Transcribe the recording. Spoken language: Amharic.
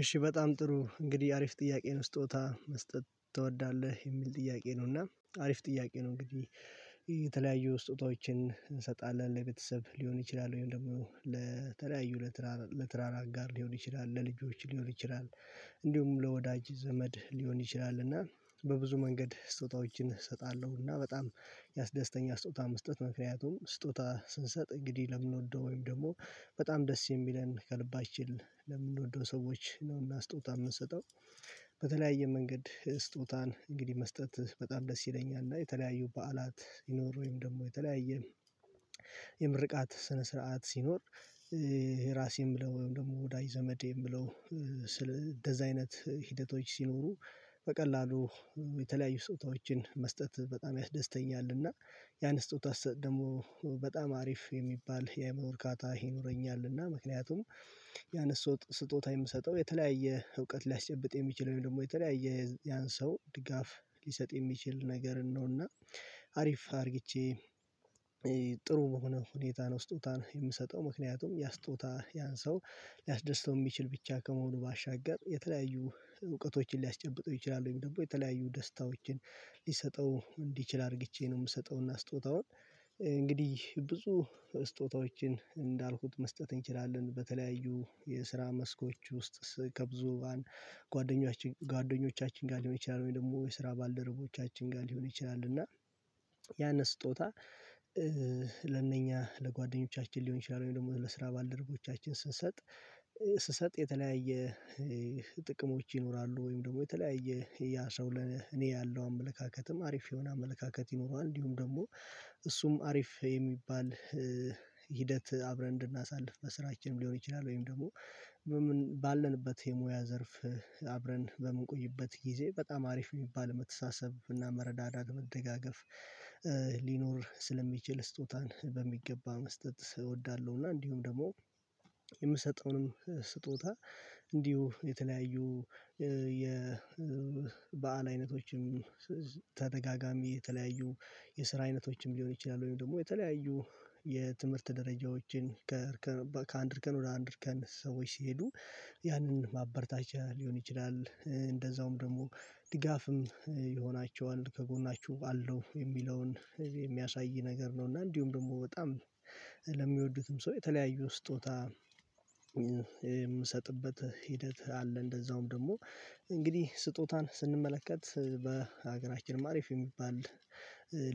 እሺ በጣም ጥሩ እንግዲህ አሪፍ ጥያቄ ነው ስጦታ መስጠት ትወዳለህ የሚል ጥያቄ ነው እና አሪፍ ጥያቄ ነው። እንግዲህ የተለያዩ ስጦታዎችን እንሰጣለን ለቤተሰብ ሊሆን ይችላል ወይም ደግሞ ለተለያዩ ለትዳር አጋር ሊሆን ይችላል ለልጆች ሊሆን ይችላል። እንዲሁም ለወዳጅ ዘመድ ሊሆን ይችላል እና በብዙ መንገድ ስጦታዎችን እሰጣለሁ እና በጣም ያስደስተኛ ስጦታ መስጠት ምክንያቱም ስጦታ ስንሰጥ እንግዲህ ለምንወደው ወይም ደግሞ በጣም ደስ የሚለን ከልባችን ለምንወደው ሰዎች ነውና ስጦታ የምንሰጠው በተለያየ መንገድ ስጦታን እንግዲህ መስጠት በጣም ደስ ይለኛል። እና የተለያዩ በዓላት ይኖር ወይም ደግሞ የተለያየ የምርቃት ስነ ስርዓት ሲኖር ይሄ ራሴን ብለው ወይም ደግሞ ወዳጅ ዘመዴን ብለው እንደዛ አይነት ሂደቶች ሲኖሩ በቀላሉ የተለያዩ ስጦታዎችን መስጠት በጣም ያስደስተኛልና ያን ስጦታ ስሰጥ ደግሞ በጣም አሪፍ የሚባል የአይምሮ እርካታ ይኖረኛል። እና ምክንያቱም ያን ስጦታ የምሰጠው የተለያየ እውቀት ሊያስጨብጥ የሚችለው ደግሞ የተለያየ ያን ሰው ድጋፍ ሊሰጥ የሚችል ነገር ነውና አሪፍ አድርግቼ ጥሩ ሆኖ ሁኔታ ነው። ስጦታን የምሰጠው ምክንያቱም ያስጦታ ያንሰው ሊያስደስተው የሚችል ብቻ ከመሆኑ ባሻገር የተለያዩ እውቀቶችን ሊያስጨብጠው ይችላል ወይም ደግሞ የተለያዩ ደስታዎችን ሊሰጠው እንዲችል አድርጌ ነው የምሰጠውና ስጦታውን ብዙ ስጦታዎችን እንዳልኩት መስጠት እንችላለን። በተለያዩ የስራ መስኮች ውስጥ ከብዙ ጓደኞቻችን ጓደኞቻችን ጋር ሊሆን ይችላል ወይ ደግሞ የስራ ባልደረቦቻችን ጋር ሊሆን ይችላል እና ያንን ስጦታ ለእነኛ ለጓደኞቻችን ሊሆን ይችላል ወይም ደግሞ ለስራ ባልደረቦቻችን ስንሰጥ ስንሰጥ የተለያየ ጥቅሞች ይኖራሉ። ወይም ደግሞ የተለያየ ያ ሰው ለኔ እኔ ያለው አመለካከትም አሪፍ የሆነ አመለካከት ይኖረዋል እንዲሁም ደግሞ እሱም አሪፍ የሚባል ሂደት አብረን እንድናሳልፍ በስራችንም ሊሆን ይችላል ወይም ደግሞ ባለንበት የሙያ ዘርፍ አብረን በምንቆይበት ጊዜ በጣም አሪፍ የሚባል መተሳሰብ እና መረዳዳት መደጋገፍ ሊኖር ስለሚችል ስጦታን በሚገባ መስጠት እወዳለሁ። እና እንዲሁም ደግሞ የምሰጠውንም ስጦታ እንዲሁ የተለያዩ የበአል አይነቶችም ተደጋጋሚ የተለያዩ የስራ አይነቶችም ሊሆን ይችላል ወይም ደግሞ የተለያዩ የትምህርት ደረጃዎችን ከአንድ እርከን ወደ አንድ እርከን ሰዎች ሲሄዱ ያንን ማበርታቻ ሊሆን ይችላል እንደዛውም ደግሞ ድጋፍም ይሆናቸዋል ከጎናችሁ አለው የሚለውን የሚያሳይ ነገር ነው እና እንዲሁም ደግሞ በጣም ለሚወዱትም ሰው የተለያዩ ስጦታ የምሰጥበት ሂደት አለ። እንደዛውም ደግሞ እንግዲህ ስጦታን ስንመለከት በሀገራችን አሪፍ የሚባል